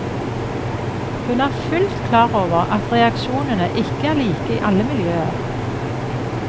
Hun er fullt klar over at reaksjonene ikke er like i alle miljøer.